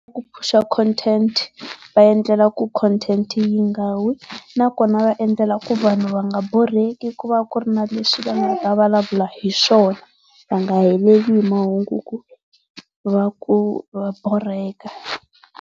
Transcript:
Ku phusha content, va endlela ku content yi nga wi, nakona va endlela ku vanhu va nga borheki ku va ku ri na leswi va nga ta vulavula hi swona, va nga heleli hi mahungu va ku va borheka.